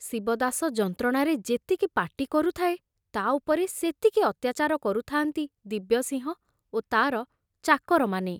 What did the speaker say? ଶିବଦାସ ଯନ୍ତ୍ରଣାରେ ଯେତିକି ପାଟି କରୁଥାଏ, ତା ଉପରେ ସେତିକି ଅତ୍ୟାଚାର କରୁଥାନ୍ତି ଦିବ୍ୟସିଂହ ଓ ତାର ଚାକରମାନେ।